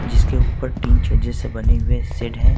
जिसके ऊपर टीन छज्जे से बने हुए शेड है।